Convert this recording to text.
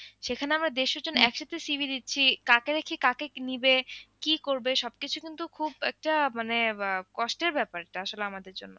সেখানে আমরা দেড়শ জন একসাথে CV দিচ্ছি কাকে রেখে কাকে নিবে কি করবে সবকিছু কিন্তু খুব একটা মানে আহ কষ্টের ব্যাপার আসলে আমাদের জন্য।